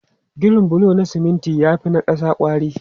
Ginin bulo na siminti ya fi na ƙasa kwari.